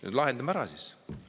Lahendame siis ära!